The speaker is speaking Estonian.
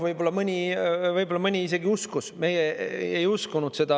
Võib-olla mõni isegi uskus, meie ei uskunud seda.